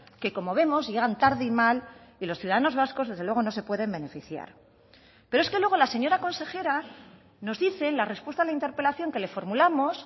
que como vemos llegan tarde y mal y los ciudadanos vascos desde luego no se pueden beneficiar pero es que luego la señora consejera nos dice en la respuesta a la interpelación que le formulamos